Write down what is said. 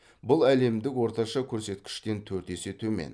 бұл әлемдік орташа көрсеткіштен төрт есе төмен